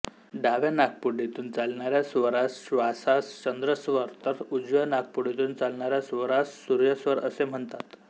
डाव्या नाकपुडीतुन चालणाऱ्या स्वरास श्वासास चंद्रस्वर तर उजव्या नाकपुडीतुन चालणाऱ्या स्वरास सूर्यस्वर असे म्हणतात